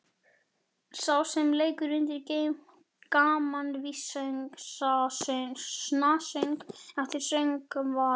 Sá sem leikur undir gamanvísnasöng eltir söngvarann.